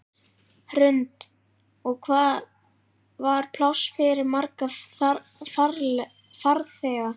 Hrund: Og hvað var pláss fyrir marga farþega?